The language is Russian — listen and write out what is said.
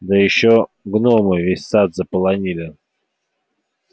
да ещё гномы весь сад заполонили